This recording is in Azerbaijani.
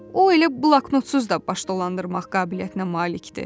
O elə bloknotsuz da baş dolandırmaq qabiliyyətinə malikdir.